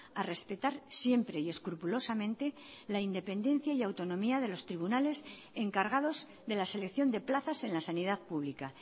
a respetar siempre y escrupulosamente la independencia y autonomía de los tribunales encargados de la selección de plazas en la sanidad pública